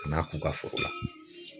Kan'a k'u ka foro la.